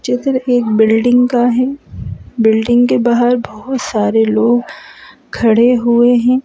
चित्र एक बिल्डिंग का है बिल्डिंग के बाहर बहोत सारे लोग खड़े हुए हैं।